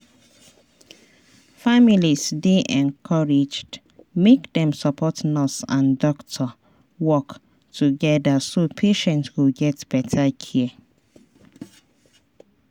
families dey encouraged make dem support nurse and doctor work together so patient go get better care.